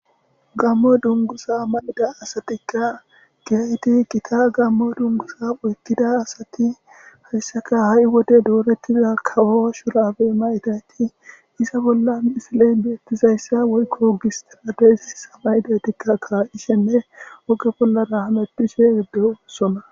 gammo dungusa malida asatikka giyayti kita gammo dungusa oykkida asati hayssaka ha7i wode doorettiza kawo shurabe maydayti iza bolla isiley biyettizayssa woykko gistirabesi samaydaytikka kaa7ishenne oge bollara halepphishe geddesona